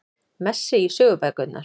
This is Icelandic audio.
Messi í sögubækurnar